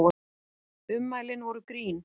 Ummælin voru grín